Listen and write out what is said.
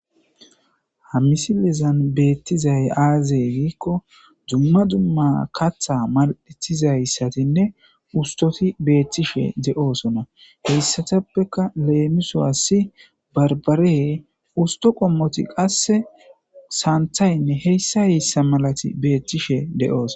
Ha misilizan beettizay aazey giikko dumma dumma katha mal'etizayssatinne ustoti beethishe de'oosona heyssatappeka leemiso assi barbare usto qommoti qasse saanthaynne heyssa heyssa malati beetishe de'ooso.